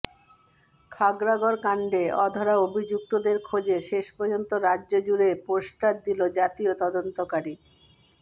খাগড়াগড় কাণ্ডে অধরা অভিযুক্তদের খোঁজে শেষ পর্যন্ত রাজ্য জুড়ে পোস্টার দিল জাতীয় তদন্তকারী